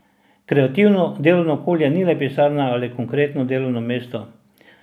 Kreativno delovno okolje ni le pisarna ali konkretno delovno mesto.